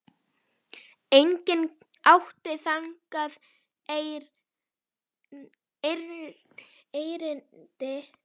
Enginn átti þangað erindi.